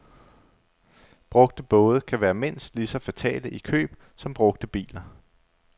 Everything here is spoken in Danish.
Brugte både kan være mindst lige så fatale i køb som brugte biler.